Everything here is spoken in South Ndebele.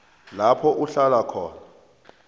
lapho uhlala khona